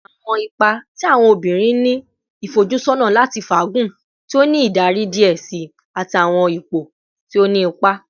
Awọn ipa ti awọn obinrin ni ifojusọna lati faagun, ti o ni idari diẹ sii ati awọn ipo ti o ni ipa